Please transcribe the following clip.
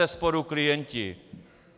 Bezesporu klienti.